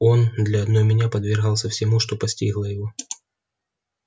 он для одной меня подвергался всему что постигло его